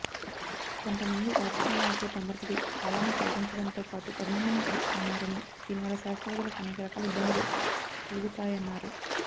కొంతమంది రాజకీయ నాయకులు తొందరపడి కాలాన్ని ప్రకటించడంతో పాటు అభినందనలు తెలుపుతున్నారనీ దీనవల్ల శాస్త్రవేత్తలకు అనేకరకాల ఇబ్బందులు కలుగుతాయన్నారు